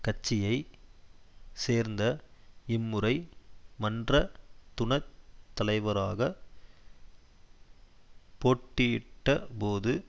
கட்சியை சேர்ந்த இம்முறை மன்ற துணத் தலைவராக போட்டியிட்ட போது